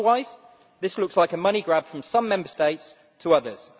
Otherwise, this looks like a money grab from some Member States to others.